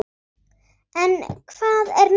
En hvað er nú?